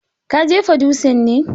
Ka jefa dutsen ne?